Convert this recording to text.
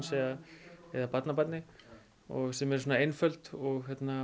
eða barnabarni sem er svona einföld og